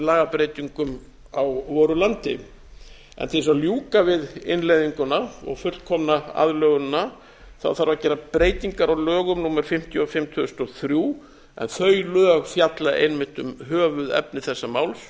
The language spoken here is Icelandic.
lagabreytingum á voru landi en til þess að ljúka við innleiðinguna og fullkomna aðlögunina þarf að bera breytingar á lögum númer fimmtíu og fimm tvö þúsund og þrjú en þau lög fjalla einmitt um höfuðefni þessa máls